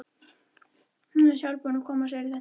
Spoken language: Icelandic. Hún er sjálf búin að koma sér í þetta.